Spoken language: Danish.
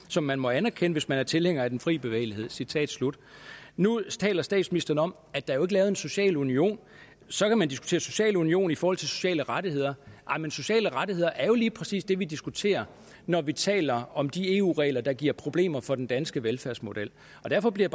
som man må anerkende hvis man er tilhænger af den fri bevægelighed citat slut nu taler statsministeren om at der jo ikke lavet en social union så kan man diskutere social union i forhold til sociale rettigheder men sociale rettigheder er jo lige præcis det vi diskuterer når vi taler om de eu regler der giver problemer for den danske velfærdsmodel derfor bliver